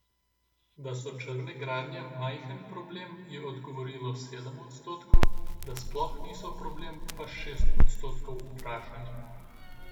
Da so črne gradnje majhen problem, je odgovorilo sedem odstotkov, da sploh niso problem, pa šest odstotkov vprašanih.